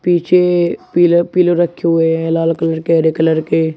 पीछे पीले पीले रखे हुए हैं लाल कलर के हरे कलर के।